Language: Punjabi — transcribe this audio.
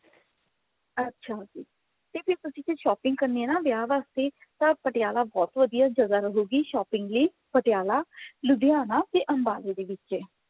ਅੱਛਾ ਤੇ ਫੇਰ ਤੁਸੀਂ ਜੇ shopping ਕਰਨੀ ਹੈ ਵਿਆਹ ਵਾਸਤੇ ਤਾਂ ਪਟਿਆਲਾ ਬਹੁਤ ਵਧਿਆ ਜਗ੍ਹਾ ਹੈਗੀ shopping ਦੀ ਪਟਿਆਲਾ ਲੁਧਿਆਣਾ ਤੇ ਅਮਬਾਲੇ ਦੇ ਵਿੱਚ ਹੈ